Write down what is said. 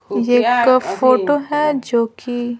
यह एक फोटो है जो कि--